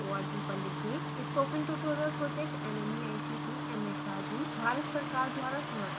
spoken tutorial प्रोजेक्टnmeict mhrd Bharat सरकार द्वारा समर्थित है